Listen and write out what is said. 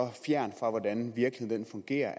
er